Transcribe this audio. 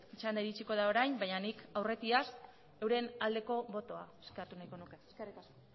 txanda iritsiko da orain baina nik aurretiaz euren aldeko botoa eskatu nahiko nuke eskerrik asko